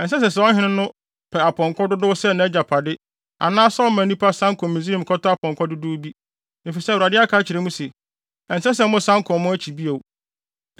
Ɛnsɛ sɛ saa ɔhene no pɛ apɔnkɔ dodow sɛ nʼagyapade anaasɛ ɔma nnipa san kɔ Misraim kɔtɔ apɔnkɔ dodow bi, efisɛ Awurade aka akyerɛ mo se. “Ɛnsɛ sɛ mosan kɔ mo akyi bio.”